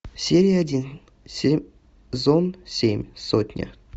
серия один сезон семь сотня